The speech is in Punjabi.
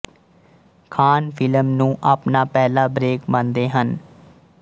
ਖਾਨ ਫ਼ਿਲਮ ਨੂੰ ਆਪਣਾ ਪਹਿਲਾ ਬ੍ਰੇਕ ਮੰਨਦੇ ਹਨ